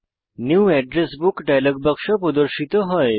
new address book dialog বাক্স প্রদর্শিত হয়